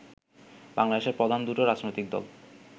বাংলাদেশের প্রধান দুটো রাজনৈতিক দল